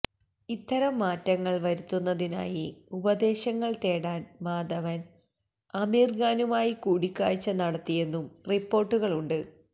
ഇത്തരം മാറ്റങ്ങള് വരുത്തുന്നതിനായി ഉപദേശങ്ങള് തേടാന് മാധവന് ആമിര് ഖാനുമായി കൂടിക്കാഴ്ച നടത്തിയെന്നും റിപ്പോര്ട്ടുകളുണ്ട്